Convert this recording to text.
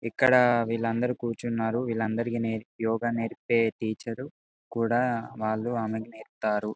ఇక్కడ వీళ్ళు అందరూ క్యూచున్నారు వీళ్ళ అందరికి యోగ నేర్పి టీచర్ కూడా వాళ్లకు ఆమె నేర్పుతారు.